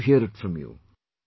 I want to hear it from you